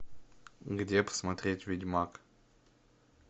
где посмотреть ведьмак